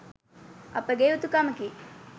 අපගේ යුතුකමෙකි.